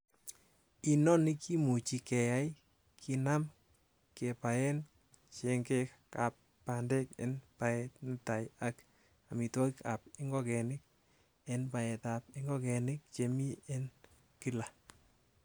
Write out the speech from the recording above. Inoni kimuche keyai kinaam kebaen chengeka ab bandek en baet netai ak amitwogik ab ingogenik en baetab ingogenik chemi en kila.